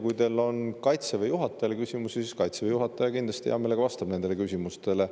Kui teil on Kaitseväe juhatajale küsimusi, siis Kaitseväe juhataja kindlasti hea meelega vastab nendele küsimustele.